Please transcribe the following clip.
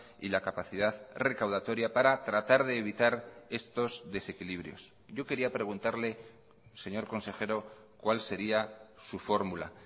y la capacidad recaudatoria para tratar de evitar estos desequilibrios yo quería preguntarle señor consejero cuál sería su fórmula